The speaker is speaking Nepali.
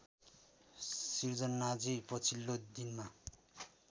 सृजनाजी पछिल्लो दिनमा